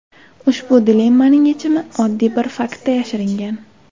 Ushbu dilemmaning yechimi oddiy bir faktda yashiringan.